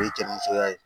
O ye jɛninisoya ye